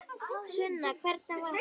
Sunna: Hvernig var hún?